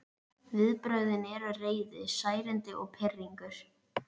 Viðbrögðin eru reiði, særindi og pirringur.